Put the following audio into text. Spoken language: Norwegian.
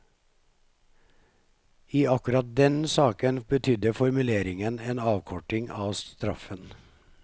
I akkurat den saken betydde formuleringen en avkorting av straffen.